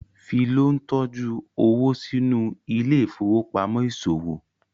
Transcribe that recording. Philo ntọjú owo sínú Ile-ifowopamọ iṣowo